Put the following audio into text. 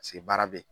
Paseke baara be ye